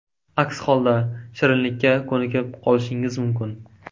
Aks holda shirinlikka ko‘nikib qolishingiz mumkin.